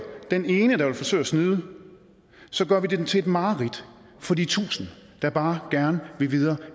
den ene der vil forsøge at snyde gør vi den til et mareridt for de tusinder der bare gerne vil videre